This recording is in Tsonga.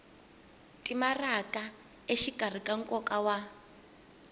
timaraka exikarhi ka nkoka wa